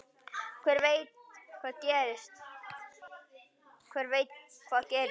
Hver veit hvað gerist?